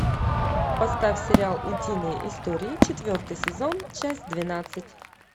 поставь сериал утиные истории четвертый сезон часть двенадцать